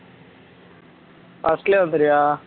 Australia வந்துரியா